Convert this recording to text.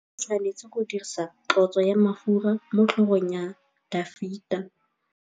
Samuele o tshwanetse go dirisa tlotsô ya mafura motlhôgong ya Dafita.